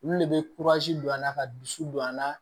Olu de bɛ don a la ka dusu don a la